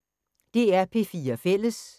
DR P4 Fælles